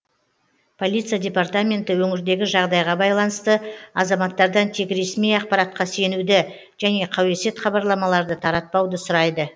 полиция департаменті өңірдегі жағдайға байланысты азаматтардан тек ресми ақпаратқа сенуді және қауесет хабарламаларды таратпауды сұрайды